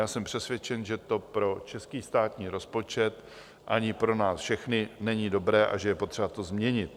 Já jsem přesvědčen, že to pro český státní rozpočet ani pro nás všechny není dobré a že je potřeba to změnit.